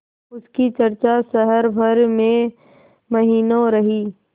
उसकी चर्चा शहर भर में महीनों रही